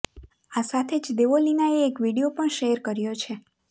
આ સાથે જ દેવોલીનાએ એક વીડિયો પણ શેર કર્યો છે